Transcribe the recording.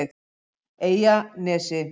Eyjanesi